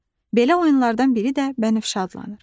Belə oyunlardan biri də bənövşə adlanır.